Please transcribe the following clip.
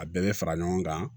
A bɛɛ bɛ fara ɲɔgɔn kan